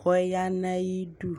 kʋ ɔya nʋ ayidʋ